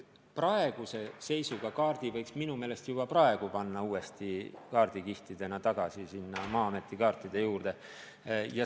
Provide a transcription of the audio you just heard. Praeguse seisuga võiks kaardi minu meelest kohe panna uuesti kaardikihtidena tagasi Maa-ameti kaartide juurde.